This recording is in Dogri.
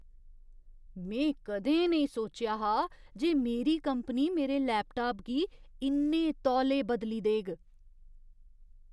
में कदें नेईं सोचेआ हा जे मेरी कंपनी मेरे लैपटाप गी इन्ने तौले बदली देग!